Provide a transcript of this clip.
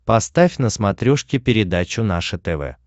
поставь на смотрешке передачу наше тв